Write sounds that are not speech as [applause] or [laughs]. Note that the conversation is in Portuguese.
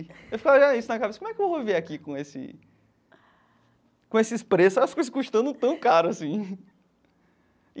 Eu falava isso na cabeça, como é que eu vou viver aqui com esse... com esses preços, as coisas custando tão caro assim. [laughs]